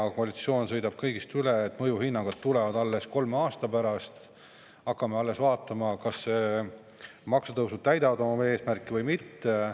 Koalitsioon sõidab kõigist üle, mõjuhinnangud tulevad alles kolme aasta pärast ja alles siis hakkame vaatama, kas maksutõusud täidavad oma eesmärki või mitte.